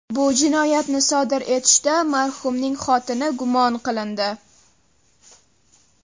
Bu jinoyatni sodir etishda marhumning xotini gumon qilindi.